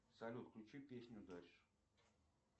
салют включи песню дальше